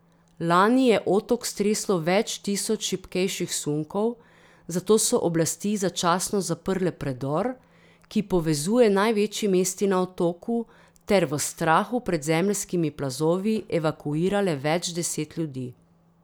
Lani je otok streslo več tisoč šibkejših sunkov, zato so oblasti začasno zaprle predor, ki povezuje največji mesti na otoku, ter v strahu pred zemeljskimi plazovi evakuirale več deset ljudi.